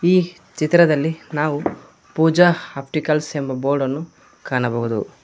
ಈ ಚಿತ್ರದಲ್ಲಿ ನಾವು ಪೂಜಾ ಆಪ್ಟಿಕಲ್ಸ್ ಎಂಬ ಬೋರ್ಡನ್ನು ಕಾಣಬಹುದು.